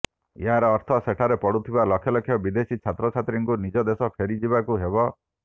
ଏହାର ଅର୍ଥ ସେଠାରେ ପଢ଼ୁଥିବା ଲକ୍ଷ ଲକ୍ଷ ବିଦେଶୀ ଛାତ୍ରଛାତ୍ରୀଙ୍କୁ ନିଜ ଦେଶ ଫେରିଯିବାକୁ ହେବ